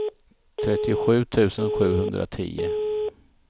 trettiosju tusen sjuhundratio